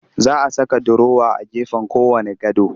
Za a saka durowa a gefen kowanne gado